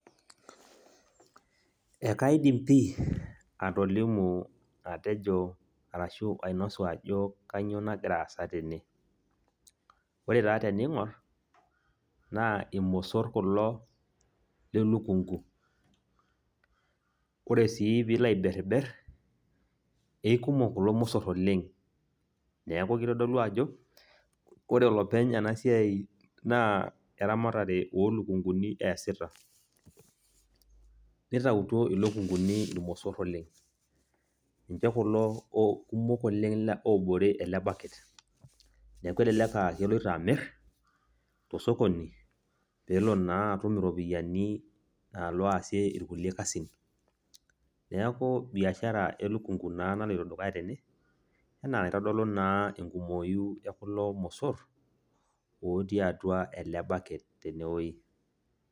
Ekaidim pi atolimu atejo arashu ainosu ajo kanyioo nagira aasa tene. Ore taa tening'or, naa irmosor kulo lelukunku. Ore si pilo aiberber, eikumok kulo mosor oleng'. Neeku kitodolu ajo, ore olopeny enasiai naa eramatare olukunkuni eesita. Nitautuo ilukunkuni irmosor oleng'. Ninche kulo kumok oleng' obore ele baket. Neeku elelek ah keloito amir, tosokoni, pelo naa atum iropiyiani nalo aasie irkulie kasin. Neeku biashara elukunku naa naloito dukuya tene, enaa enaitodolu naa enkumoyu ekulo mosor, otii atua ele baket tenewoi.